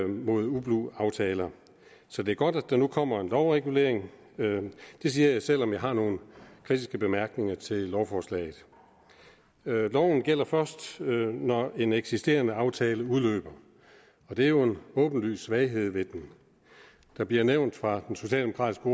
mod ublu aftaler så det er godt at der nu kommer en lovregulering det siger jeg selv om jeg har nogle kritiske bemærkninger til lovforslaget loven gælder først når en eksisterende aftale udløber og det er jo en åbenlys svaghed ved den der bliver nævnt fra den socialdemokratiske